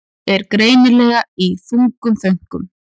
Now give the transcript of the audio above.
Er greinilega í þungum þönkum.